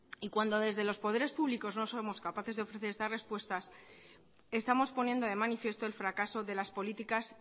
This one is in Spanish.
y cuando desde los poderes públicos no somos capaces de ofrecer estas respuestas estamos poniendo de manifiesto el fracaso de las políticas